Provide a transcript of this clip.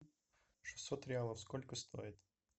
шестьсот реалов сколько стоит